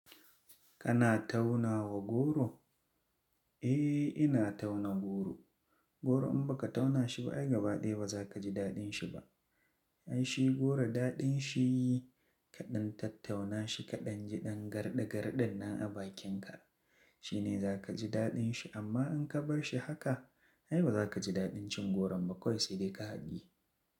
Kana tauna wa goro? Eh ina tauna goro. Goro in ba ka tauna shi ba, ai gaba ɗaya ba za ka ji daɗin shi ba. Ai shi goro daɗin shi kaɗan tattauna shi kaɗan ji ɗan garda gardan nan a bakinka. Shi ne za ka ji daɗin shi amma in ka bar shi haka, ai ba za ka ji daɗin cin goron ba kwai sai dai ka haɗiye.